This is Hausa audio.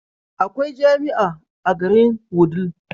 Akwai jamia a garin wudil